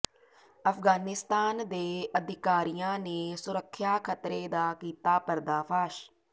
ਅਫਗਾਨਿਸਤਾਨ ਦੇ ਅਧਿਕਾਰੀਆਂ ਨੇ ਸੁਰੱਖਿਆ ਖਤਰੇ ਦਾ ਕੀਤਾ ਪਰਦਾਫਾਸ਼